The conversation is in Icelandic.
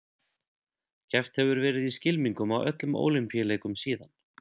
Keppt hefur verið í skylmingum á öllum Ólympíuleikum síðan.